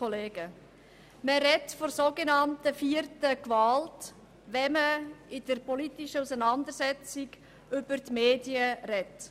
Man spricht von der sogenannten vierten Gewalt, wenn man in der politischen Auseinandersetzung über die Medien spricht.